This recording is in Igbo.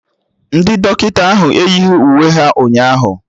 Ndị dọkịta ahụ eyighi uwe ha ụnyaahụ